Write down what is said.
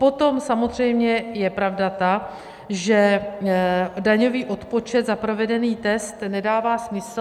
Potom samozřejmě je pravda ta, že daňový odpočet za provedený test nedává smysl.